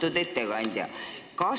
Austatud ettekandja!